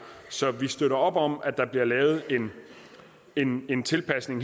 så vi støtter op om at der her bliver lavet en en tilpasning